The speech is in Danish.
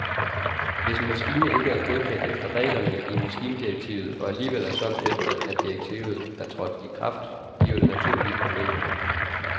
Hvis en maskine ikke er godkendt efter reglerne i maskindirektivet og alligevel er solgt efter at direktivet er trådt i kraft, giver det naturligvis problemer.